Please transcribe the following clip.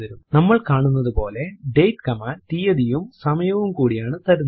നമ്മൾ കാണുന്നതുപോലെ date command തീയതിയും സമയവും കൂടിയാണ് തരുന്നത്